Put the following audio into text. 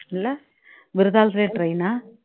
இல்ல விருதாலத்திலேயே train ஆ